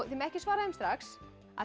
ekki svara þeim strax